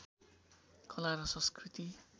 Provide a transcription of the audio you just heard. कला र संस्कृति